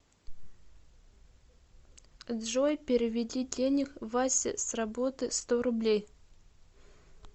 джой переведи денег вася с работы сто рублей